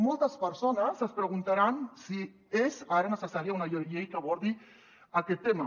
moltes persones es preguntaran si és ara necessària una llei que abordi aquest tema